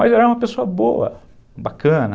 Mas era uma pessoa boa, bacana,